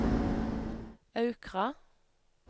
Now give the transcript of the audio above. Aukra